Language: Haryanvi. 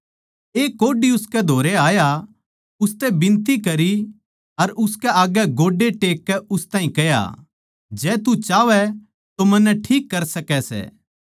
एक कोढ़ी उसकै धोरै आया उसतै बिनती करी अर उसकै आग्गै गोड्डे टेककै उस ताहीं कह्या जै तू चाहवै तो मन्नै ठीक कर सकै सै